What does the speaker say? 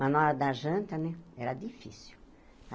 Mas na hora da janta, né, era difícil.